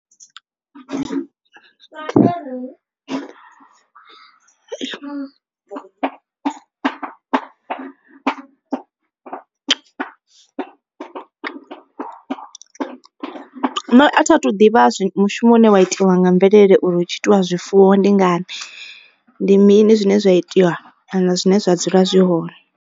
Nṋe a thi athu ḓivha mushumo une wa itiwa nga mvelele uri hu tshi itiwa zwifuwo ndi ngani. Ndi mini zwine zwa itiwa kana zwine zwa dzula zwi hone.